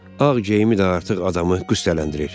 Ağ geyimi də artıq adamı qıstələndirir.